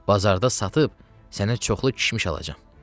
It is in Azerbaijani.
Bazarda satıb sənə çoxlu kişmiş alacam.